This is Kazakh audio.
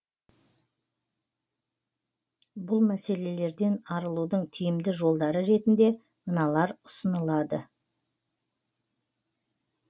бұл мәселерден арылудың тиімді жолдары ретінде мыналар ұсынылады